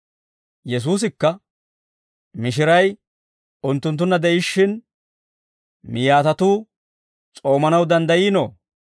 Yesuusikka, «Mishiray unttunttunna de'ishshin miyaatatuu s'oomanaw danddayiinoo?